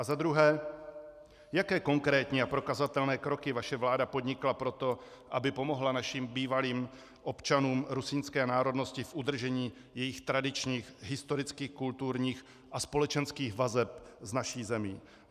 A za druhé, jaké konkrétní a prokazatelné kroky vaše vláda podnikla pro to, aby pomohla našim bývalým občanům rusínské národnosti v udržení jejich tradičních historických, kulturních a společenských vazeb s naší zemí?